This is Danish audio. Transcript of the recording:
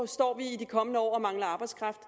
står vi i de kommende år og mangler arbejdskraft